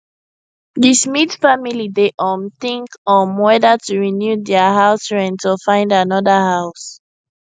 the smith family dey um think um weather to renew their house rent or find another house